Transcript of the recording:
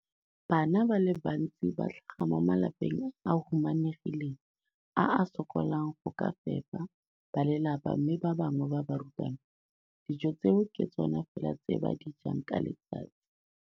Bana ba le bantsi ba tlhaga mo malapeng a a humanegileng a a sokolang go ka fepa ba lelapa mme ba bangwe ba barutwana, dijo tseo ke tsona fela tse ba di jang ka letsatsi.